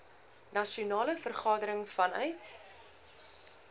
nasionale vergadering vanuit